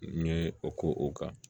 N ye o k'o kan